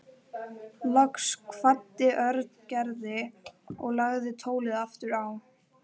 Loks kvaddi Örn Gerði og lagði tólið aftur á.